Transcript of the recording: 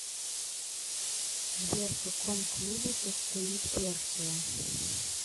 сбер в каком клубе состоит персия